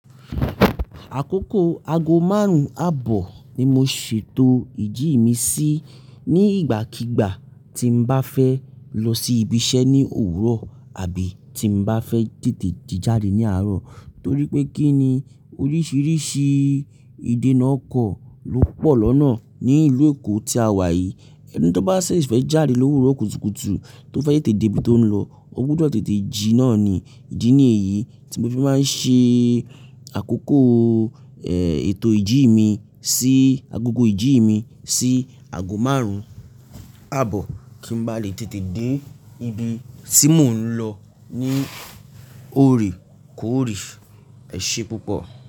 Àkókò aago márùn-ún àbọ̀ ni mo ṣètò ìjì mi sí ní ìgbàkígbà tí m bá fẹ́ lọ sí ibiṣẹ́ ní òwúrọ̀ àbí tí mo bá fẹ́ tètè ji jáde ní àárọ̀. Torí pé kí ni oríṣiríṣi ìdènà ọkọ̀ ló pọ̀ lọ́nà ní ìlú Èkó tí a wà yìí. Ẹni tí ó bá ṣẹ̀ fẹ́ jáde lówúrọ̀ kùtùkùtù tó fẹ́ tètè dé ibi tó ń lọ, ó gbúdọ̀ tètè jí náà ni. Ìdì ni èyí tí mo fi máa ń ṣe àkókò, ètò ìjì mi sí, agogo ìjì mi sí aago márùn-ún àbọ̀ kí n ba lè tètè dé ibi tí mò ń lọ ní òrékóòrè. Ẹ̀ ṣe púpọ̀